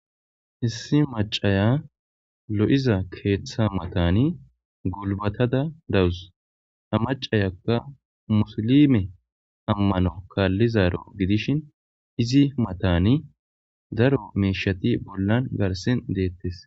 hissi macaya lo7iza keeththa matani gulbatada dawus amacayakka musilime ammano kaallizaro gidishin izi matani daro meeshati bollan garsin deettes